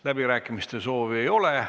Läbirääkimiste soovi ei ole.